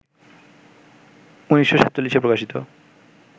১৯৪৭-এ প্রকাশিত